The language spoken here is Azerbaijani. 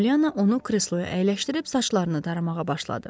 Polyanna onu kresloya əyləşdirib saçlarını daramağa başladı.